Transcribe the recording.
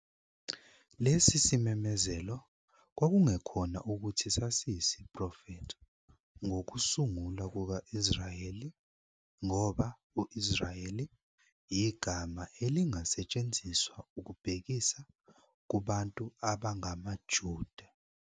Lesi simemezelo kwakungekhona ukuthi sasiyisiprofetho ngokusungulwa kuka-Israyeli, ngoba "u-Israyeli" igama elingasetshenziswa ukubhekisa "kubantu abangamaJuda".